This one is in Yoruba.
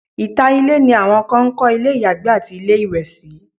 ìta ilé ni awọn kan ń kọ́ ilé ìyàgbẹ́ àti ilé ìwẹ̀ sí